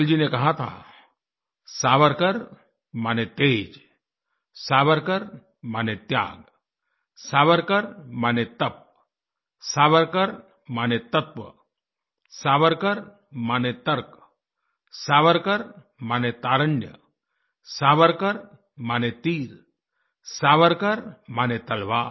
अटल जी ने कहा था सावरकर माने तेज़ सावरकर माने त्याग सावरकर माने तप सावरकर माने तत्व सावरकर माने तर्क सावरकर माने तारुण्य सावरकर माने तीर सावरकर माने तलवार